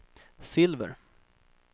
silver